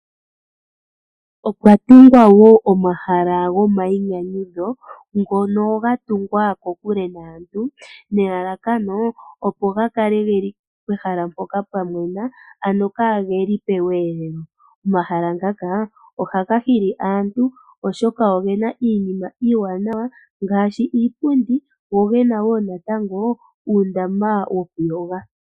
Opwa tungwa woo omahala gomayinyanyudho ngono ga tungwa ko kule naantu, nelalakano opo ga kale geli pehala mpoka pwa mwena, ano kaageli pe weelelo. Omahala ngaka ohaga hili aantu oshoka ogena iinima iiwanawa ngaashi iipundi, go gena woo natango uundama woku yoga.